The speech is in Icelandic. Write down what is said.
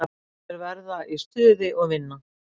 Þeir verða í stuði og vinna.